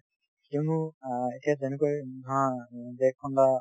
কিয়নো অ এতিয়া যেনেকৈ ধৰা দেশ খন বা